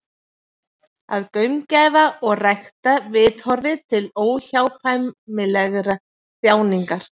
Að gaumgæfa og rækta viðhorfið til óhjákvæmilegrar þjáningar.